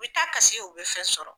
U bɛ taa kasi u bɛ fɛn sɔrɔ.